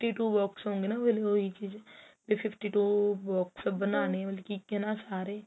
two box ਹੋਈ ਚੀਜ ਵੀ fifty two box ਬਣਾਉਣੇ ਸਾਰੇ